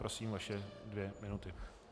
Prosím, vaše dvě minuty.